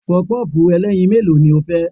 Pọpọ́ọ̀fù ẹlẹ́yin mélòó ni o fẹ́?